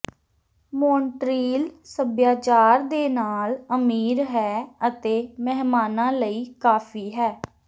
Montreal ਸੱਭਿਆਚਾਰ ਦੇ ਨਾਲ ਅਮੀਰ ਹੈ ਅਤੇ ਮਹਿਮਾਨਾਂ ਲਈ ਕਾਫ਼ੀ ਹੈ